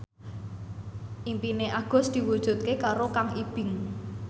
impine Agus diwujudke karo Kang Ibing